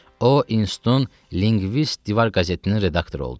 O, İnostun Linqvist divar qəzetinin redaktoru oldu.